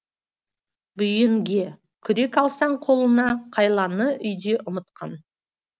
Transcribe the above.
бүйенге күрек алсаң қолына қайланы үйде ұмытқан